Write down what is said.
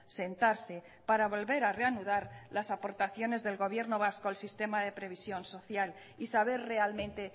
sentarse para volver a reanudar las aportaciones del gobierno vasco al sistema de previsión social y saber realmente